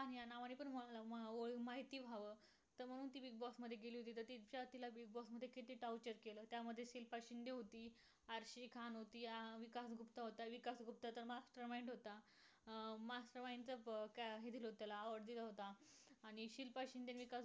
inos canon UNESCO दोनहजार बारा मध्ये पश्चिम घाटावरील जागतिक वारसा यादी समाविष्ट भारतात एकोणचलीस ठिकाणापेकी एक असणारे कोयना अभयरण्य होय.